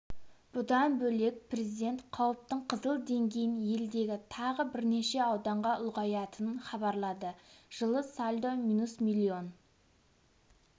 бұдан бөлек президент қауіптің қызыл деңгейін елдегі тағы бірнеше ауданға ұлғаятынын хабарлады жылы сальдо минус миллион